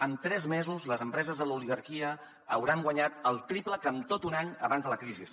en tres mesos les empreses de l’oligarquia hauran guanyat el triple que amb tot un any abans de la crisi